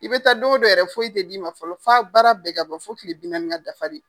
I bɛ taa dongodon yɛrɛ foyi tɛ d'i ma fɔlɔ fɔ a baara bɛɛ ka ban fɔ kile bi naani ka dafa de.